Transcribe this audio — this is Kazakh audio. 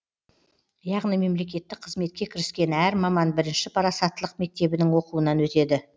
яғни мемлекеттік қызметке кіріскен әр маман бірінші парасаттылық мектебінің оқуынан өтеді